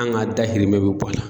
An' ŋa dahirimɛ be bɔ a la.